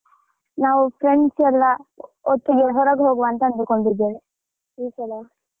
ನಾವ್ friends ಯೆಲ್ಲಾ ಒಟ್ಟಿಗೆ ಹೊರಗೆ ಹೋಗ್ವಾ ಅಂತ ಅಂದ್ಕೊಂಡಿದ್ದೇವೆ ಈ ಸಲ.